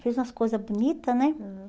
Fez umas coisas bonitas, né? Aham.